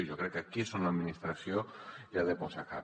jo crec que aquí és on l’administració hi ha de posar cap